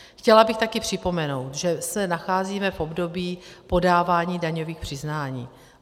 Chtěla bych také připomenout, že se nacházíme v období podávání daňových přiznání.